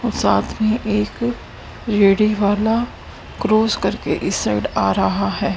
साथ में एक क्रॉस करके इस साइड आ रहा है।